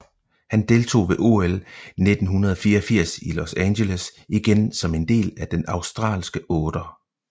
Han deltog ved OL 1984 i Los Angeles igen som en del af den australske otter